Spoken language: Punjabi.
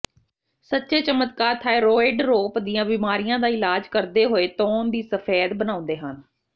ਸੱਚੇ ਚਮਤਕਾਰ ਥਾਈਰੋਇਡਰੋਪ ਦੀਆਂ ਬਿਮਾਰੀਆਂ ਦਾ ਇਲਾਜ ਕਰਦੇ ਹੋਏ ਤੌਣ ਦੀ ਸਫੈਦ ਬਣਾਉਂਦੇ ਹਨ